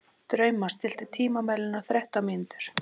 Drauma, stilltu tímamælinn á þrettán mínútur.